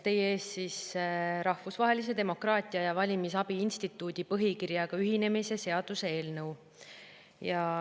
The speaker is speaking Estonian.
Teie ees on Rahvusvahelise Demokraatia ja Valimisabi Instituudi põhikirjaga ühinemise seaduse eelnõu.